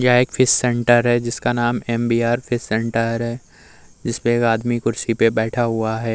यह एक fish centre है। जिसका नाम एम.बी.आर फिश सेंटर है। जिस पे एक आदमी कुर्सी पे बैठा हुआ है।